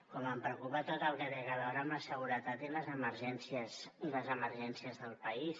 com em preocupa tot el que té a veure amb la seguretat i les emergències del país